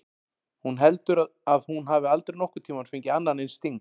Hún heldur að hún hafi aldrei nokkurn tímann fengið annan eins sting.